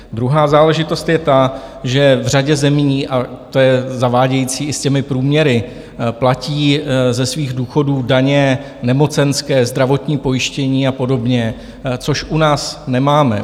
Druhá záležitost je ta, že v řadě zemí - a to je zavádějící i s těmi průměry - platí ze svých důchodů daně, nemocenské, zdravotní pojištění a podobně, což u nás nemáme.